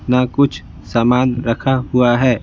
ना कुछ सामान रखा हुआ है।